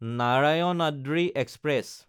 Narayanadri express